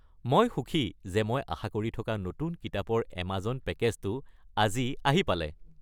মই সুখী যে মই আশা কৰি থকা নতুন কিতাপৰ এমাজন পেকেজটো আজি আহি পালে।